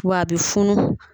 W'a bi funu.